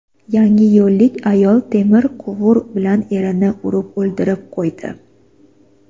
Yangiyo‘llik ayol temir quvur bilan erini urib o‘ldirib qo‘ydi.